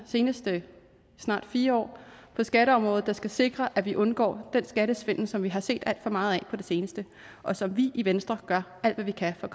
seneste snart fire år på skatteområdet der skal sikre at vi undgår den skattesvindel som vi har set alt for meget af på det seneste og som vi i venstre gør alt hvad vi kan for